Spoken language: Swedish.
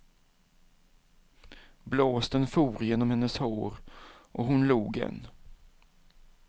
Blåsten for genom hennes hår och hon log än.